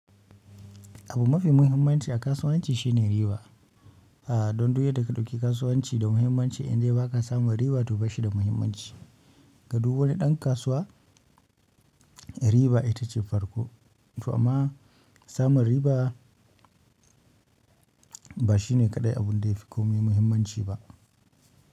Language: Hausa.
Abu mafi muhimmanci a kasuwanci shine riba. A dondu yadda ka ɗauki kasuwanci da muhimmanci indai baka samun riba to bashi da muhimmanci ga du wani ɗan kasuwa riba ita ce farko to amma samun riba ba shine kaɗai abun da ya fi komai muhimmanci ba.